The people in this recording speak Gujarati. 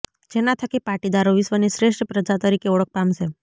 જેના થકી પાટીદારો વિશ્વની શ્રેષ્ઠ પ્રજા તરીકે ઓળખ પામશે